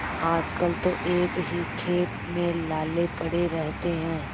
आजकल तो एक ही खेप में लाले पड़े रहते हैं